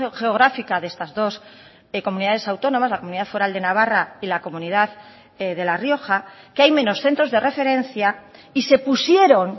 geográfica de estas dos comunidades autónomas la comunidad foral de navarra y la comunidad de la rioja que hay menos centros de referencia y se pusieron